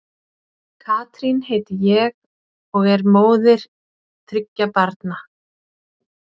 Katrín heiti ég og og er móðir þriggja barna.